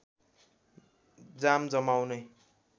जाम जमाउने